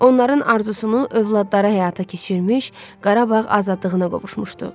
Onların arzusunu övladları həyata keçirmiş, Qarabağ azadlığına qovuşmuşdu.